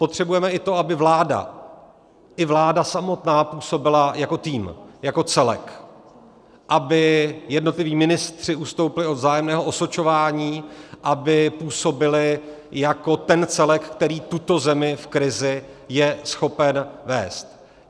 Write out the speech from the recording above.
Potřebujeme i to, aby vláda, i vláda samotná působila jako tým, jako celek, aby jednotliví ministři ustoupili od vzájemného osočování, aby působili jako ten celek, který tuto zemi v krizi je schopen vést.